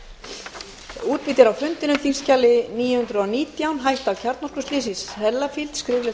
á leit að fá viðbótarfrest til nítjánda mars næstkomandi að svara fyrirspurninni